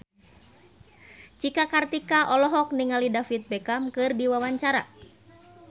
Cika Kartika olohok ningali David Beckham keur diwawancara